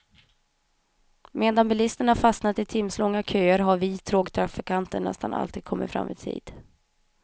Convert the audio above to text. Medan bilisterna fastnat i timslånga köer har vi tågtrafikanter nästan alltid kommit fram i tid.